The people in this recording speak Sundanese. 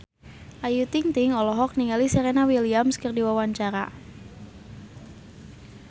Ayu Ting-ting olohok ningali Serena Williams keur diwawancara